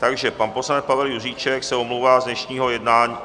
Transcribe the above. Takže pan poslanec Pavel Juříček se omlouvá z dnešního jednání...